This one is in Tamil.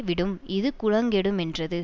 விடும் இது குலங்கெடுமென்றது